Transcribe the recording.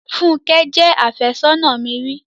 Fúnkẹ́ jẹ́ àfẹ́sónà mi ri.